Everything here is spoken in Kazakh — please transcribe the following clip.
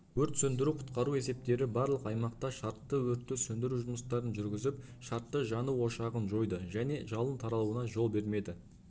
өрт сөндіру-құтқару есептері барлық аймақта шартты өртті сөндіру жұмыстарын жүргізіп шартты жану ошағын жойды және жалын таралуына жол бермеді